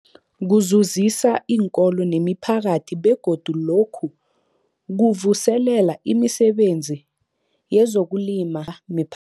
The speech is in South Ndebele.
Kuzuzisa iinkolo nemiphakathi begodu lokhu kuvuselela imisebenzi yezokulima a mipha